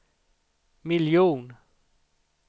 miljon